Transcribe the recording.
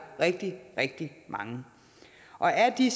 rigtig rigtig mange og af de